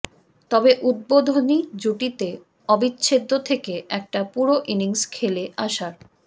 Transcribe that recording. তবে উদ্বোধনী জুটিতে অবিচ্ছেদ্য থেকে একটা পুরো ইনিংস খেলে আসার